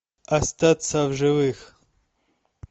остаться в живых